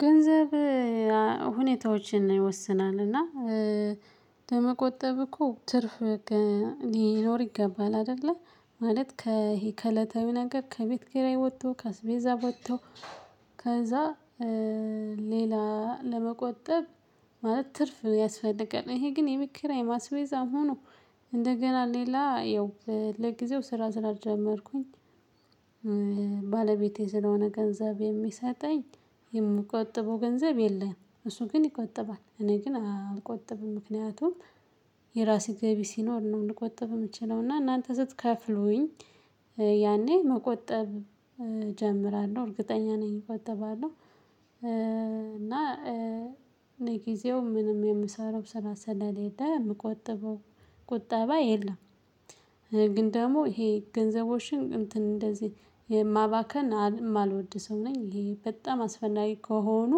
ገንዘብ ሁኔታዎችን ይወስናል እና ከመቆጠብ እኮ ትርፍ በቃ ሊኖር ይገባል። አይደለ ማለት ከሂ ከዕለታዊ ነገር ከቤት ኪራይ ወጥቶ ከስቤዛ ወጥቶ ከዛ ሌላ ለመቆጠብ ማለት ትርፍ ያስፈልጋል። ይሄ ግን የቤት ኪራይም አስቤዛ ሁኖ እንደገና ሌላ ይው ለጊዜው ስራ ስራ ስላልጀመርኩኝ። ባለቤቴ ስለሆነ ገንዘብ የሚሰጠኝ የምቆጥበው ገንዘብ የለም እሱ ግን ይቆጥባል። እኔ ግን አልቆጥብም ምክንያቱም የራሴ ገቢ ሲኖር ነው ልቆጥብ የምችለው። እና እናንተ ስትከፍሉኝ ያኔ መቆጠብ እጀምራለሁ እርግጠኛ ነኝ እቆጥባለሁ። እና ለጊዜው ምንም የምሰራው ስራ ስለሌለ የምቆጥበው ቁጠባ የለም። ግን ደግሞ ይሄ ገንዘቦችን እንትን እንደዚህ የማባከን የማልወድ ሰው ነኝ። ይሄ በጣም አስፈላጊ ከሆኑ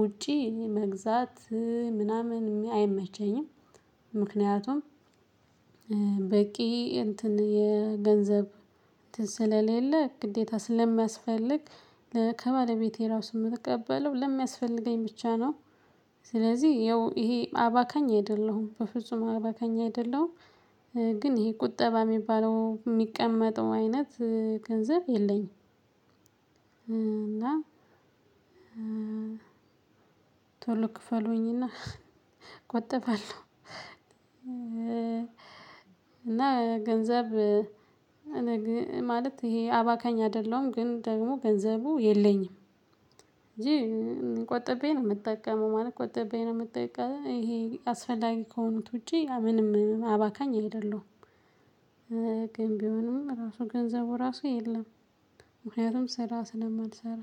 ውጪ መግዛት ምናምን አይመቸኝም። ምክንያቱም በቂ እትን የገንዘብ ስለሌለ ግዴታ ስለሚያስፈልግ ከባለቤቴ ራሱ የምቀበለው ለሚያስፈልገኝ ብቻ ነው። ስለዚህ ይው ይሄ አባከኝ አይደለሁም በፍጹም አባከኝ አይደለሁም። ግን ይሄ ቁጠባ የሚባለው የሚቀመጥ አይነት ገንዘብ የለኝም። እና ቶሎ ክፈሉኝ እና ቆጠባለሁ። እና ገንዘብ ማለት ይሄ አባካኝ አይደለሁም ግን ደግሞ ገንዘቡ የለኝም። እንጂ ቆጥቤ ነው የምጠቀመው ማለት ቆጥቤ ነው የምጠቀመው ይሄ አስፈልጋል ከሆኑት ውጪ ምንም አባካኝ አይደለሁም። ግን ቢሆንም ራሱ ገንዘቡ ራሱ የለም ምክንያቱም ስራ ስለማልሰራ።